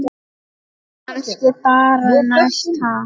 Kannski bara næst, ha!